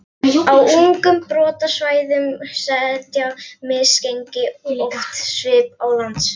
Á ungum brotasvæðum setja misgengi oft svip á landslag.